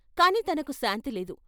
కాని తనకు శాంతిలేదు.